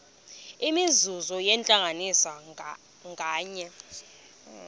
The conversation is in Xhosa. imizuzu yentlanganiso nganye